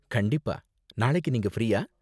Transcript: கண்டிப்பா, நாளைக்கு நீங்க ஃப்ரீயா?